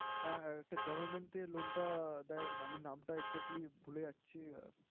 হ্যাঁ, একটা government এ loan টা দেয়। আমি নামটা exactly ভুলে যাচ্ছি।